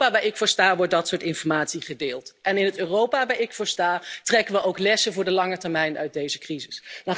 In het Europa waar ik voor sta, wordt dat soort informatie gedeeld en in het Europa waar ik voor sta, trekken we ook lessen voor de lange termijn uit deze crisis.